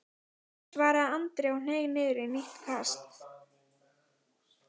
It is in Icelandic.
svaraði Andri og hneig niður í nýtt kast.